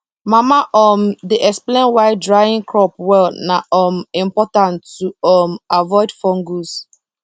mama um dey explain why drying crop well na um important to um avoid fungus